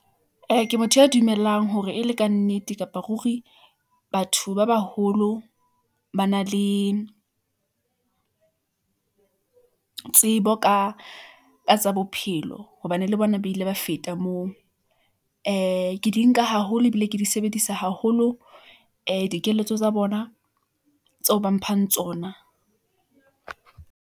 Ke motho ya dumelang hore e le ka nnete kapa ruri. Batho ba baholo ba na le tsebo ka tsa bophelo hobane le bona ba ile ba feta moo . Ke di nka haholo ebile ke di sebedisa haholo dikeletso tsa bona tseo ba mphang tsona.